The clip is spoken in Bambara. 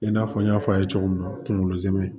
I n'a fɔ n y'a fɔ a ye cogo min na kunkolo zɛmɛ